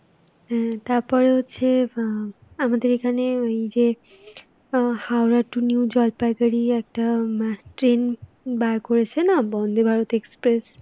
হ্যাঁ তারপরে হচ্ছে অ্যাঁ আমাদের এখানে ওই যে অ্যাঁ হাওড়া to new জলপাইগুড়ি হম একটা train বার করেছে না, বন্দে ভারত express,